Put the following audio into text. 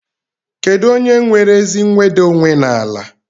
Kedụ onye nwere ezi nweda onwe n'ala?